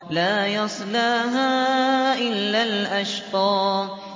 لَا يَصْلَاهَا إِلَّا الْأَشْقَى